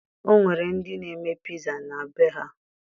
O nwere ndị na-eme piza na be ha